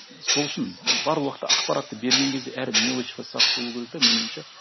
сол үшін бар уақытта ақпаратты берген кезде әр мелочқа сақ болу керек да менің ойымша